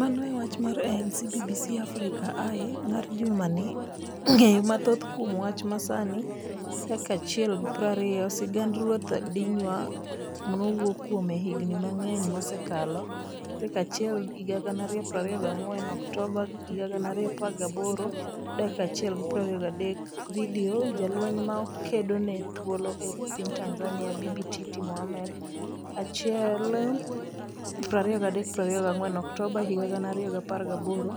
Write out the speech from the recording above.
Mano e wach mar ANC BBC Africa Eye mar jumani Ng'eyo mathoth kuom wach ma sani 1:20 Vidio, Sigand Ruoth Dihya nowuo kuome higni mang'eny mosekalo, Sa 1,2024 Oktoba 2018 1:23 Vidio, Jalweny ma kedo ne thuolo e piny Tanzania, Bibi Titi Mohamed, Sa 1,2324 Oktoba 2018